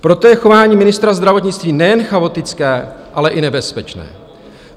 Proto je chování ministra zdravotnictví nejen chaotické, ale i nebezpečné.